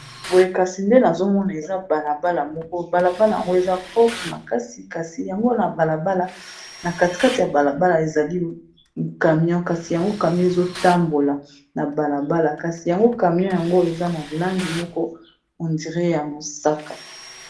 Boye kasi nde nazomona eza balabala moko eza propre makasi kasi yango na katikati ya balabala ezali camion kasi yango ezo tambola, kasi camion eza na langi moko on dirait ya mosaka.